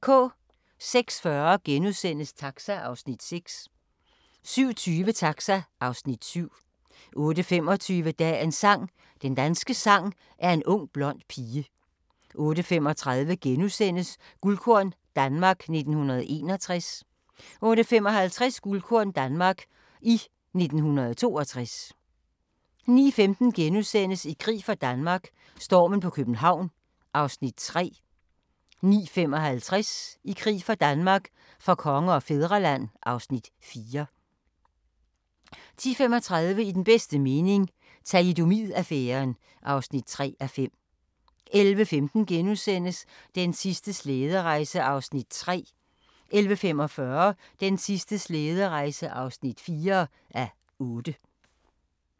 06:40: Taxa (Afs. 6)* 07:20: Taxa (Afs. 7) 08:25: Dagens sang: Den danske sang er en ung blond pige 08:35: Guldkorn - Danmark 1961 * 08:55: Guldkorn - Danmark i 1962 09:15: I krig for Danmark - stormen på København (Afs. 3)* 09:55: I krig for Danmark - for konge og fædreland (Afs. 4) 10:35: I den bedste mening – Thalidomid-affæren (3:5) 11:15: Den sidste slæderejse (3:8)* 11:45: Den sidste slæderejse (4:8)